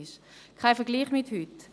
Das ist kein Vergleich mit heute.